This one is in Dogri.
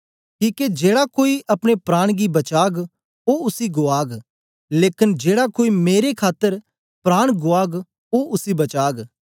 किके जेड़ा कोई अपने प्राण गी बचाग ओ उसी गुआग लेकन जेड़ा कोई मेरी खातर प्राण गुआग ओ उसी बचाग